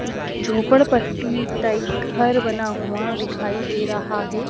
झोपड़पट्टी type घर बना हुआ दिखाई दे रहा है।